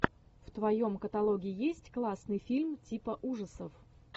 в твоем каталоге есть классный фильм типа ужасов